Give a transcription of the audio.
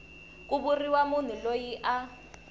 ku vuriwa munhu loyi a